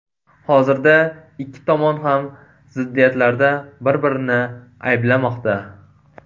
Hozirda ikki tomon ham ziddiyatlarda bir-birini ayblamoqda.